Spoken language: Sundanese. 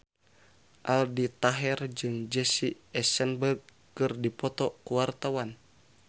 Aldi Taher jeung Jesse Eisenberg keur dipoto ku wartawan